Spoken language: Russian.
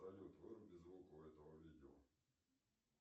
салют выруби звук у этого видео